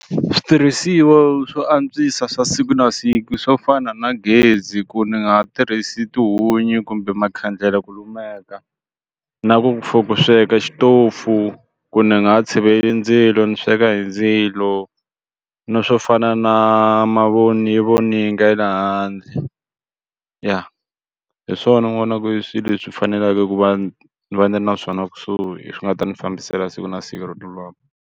Switirhisiwa swo antswisa swa siku na siku swo fana na gezi ku ni nga ha tirhisi tihunyi kumbe makhandlele ku lumeka na ku for ku sweka xitofu ku ni nga ha tshiveli ndzilo ni sweka hi ndzilo na swo fana na mavoni yi voninga ye le handle ya hi swona ni vonaku i swilo leswi faneleke ku va ni va ni ri na swona kusuhi swi nga ta n'wi fambisela siku na siku ro .